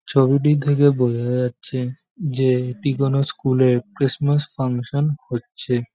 ছবিটি থেকে বোঝা যাচ্ছে যে এটি কোন স্কুল এর ক্রিসমাস ফাংশন হচ্ছে।